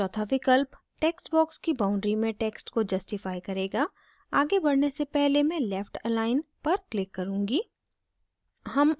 चौथा विकल्प text box की boundaries में text को justify करेगा आगे बढ़ने से पहले मैं left अलाइन पर click करुँगी